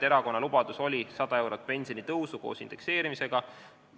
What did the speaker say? Erakonna lubadus oli 100 eurot pensionitõusu koos indekseerimisega.